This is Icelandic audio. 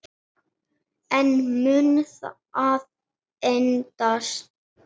En mun það endast?